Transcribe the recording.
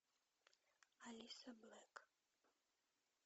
алиса блэк